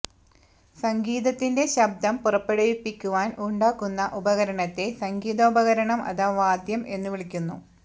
സംഗീതത്തിന്റെ ശബ്ദം പുറപ്പെടുവിപ്പിക്കുവാൻ ഉണ്ടാക്കുന്ന ഉപകരണത്തെ സംഗീതോപകരണം അഥവാ വാദ്യം എന്നു വിളിക്കുന്നു